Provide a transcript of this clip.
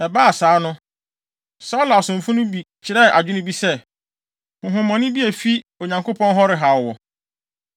Ɛbaa saa no, Saulo asomfo no bi kyerɛɛ adwene bi se, “Honhommɔne bi a efi Onyankopɔn hɔ rehaw wo.